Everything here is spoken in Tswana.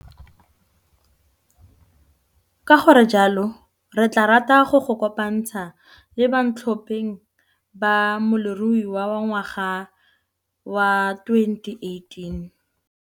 Ka go re jalo, re tlaa rata go le kopanthsa le bantlhopeng ba Molemirui wa Ngwaga wa 2018!